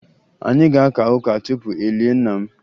Anyị ga-aka ụka tupu e lie nna m